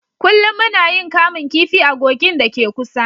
Kullum muna yin kamun kifi a kogin da ke kusa